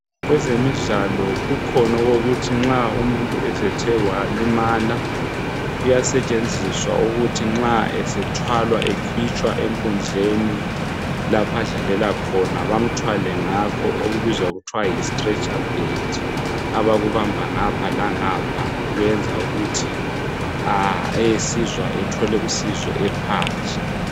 kwezemidlalo kukhona okokuthi nxa umuntu sethe walimala kuyasetshenziswa ukuthi nxa esethwalwa esekhitshwa enkundleni lapho adlalela khona bamthwale ngakho okubizwa kuthiwa yi stretcher bed abakubamba ngapha langapha ,kuyenza ukuthi a esizwa ethole usizo ephandle